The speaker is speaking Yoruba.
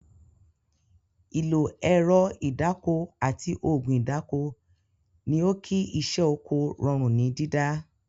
Ìlo ẹ̀rọ ìdáko àti ògùn ìdáko ni ó kí iṣẹ́ Oko rọrùn ní dídá